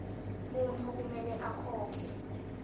muntfu kumele akhokhe